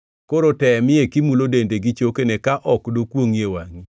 Koro temie kimulo dende gi chokene ka ok dokwongʼi e wangʼi.”